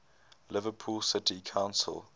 liverpool city council